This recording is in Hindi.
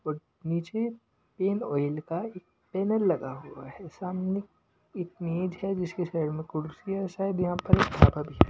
और नीचे पेन ऑयल का एक बैनर लगा हुआ है सामने एक मेज है जिसके साइड मे कुर्सी है शायद यहां पर एक भी है।